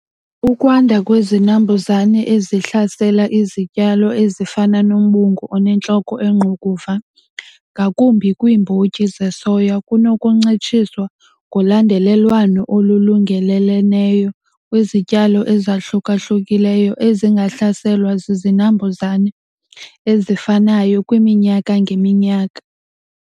Ukwanda kwezinambuzane ezihlasela izityalo ezifana nombungu onentloko engqukuva ngakumbi kwiimbotyi zesoya kunokuncitshiswa ngolandelelwano olulungeleleneyo kwzityalo ezahluka-hlukileyo ezingahlaselwa zizinambuzane ezifanayo kwiminyaka ngeminyaka.